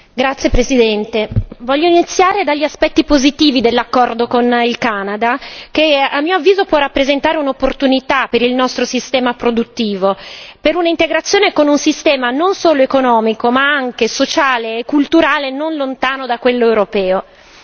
Signor Presidente, onorevoli colleghi, voglio iniziare dagli aspetti postivi dell'accordo con il Canada, che a mio avviso può rappresentare un'opportunità per il nostro sistema produttivo, per un'integrazione con un sistema non solo economico, ma anche sociale e culturale non lontano da quello europeo.